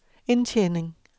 indtjening